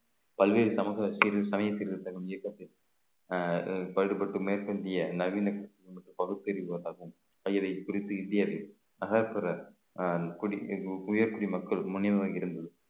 பல்வேறு சமத்துவ சிறு சமயத்தில் இருந்த நம் இயக்கத்தில் அஹ் பாடுபட்டு மேற்கிந்திய நவீன பகுத்தறிவு குறித்து இந்திய உயர் குடிமக்கள் மக்களும்